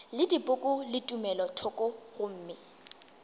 le dipoko le tumelothoko gomme